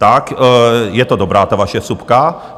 Tak ta je dobrá, ta vaše vsuvka.